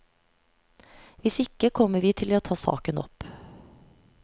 Hvis ikke kommer vi til å ta saken opp.